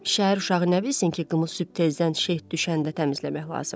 Şəhər uşağı nə bilsin ki, qımı sübh tezdən şeh düşəndə təmizləmək lazımdır.